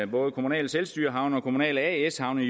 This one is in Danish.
både kommunale selvstyrehavne og kommunale as havne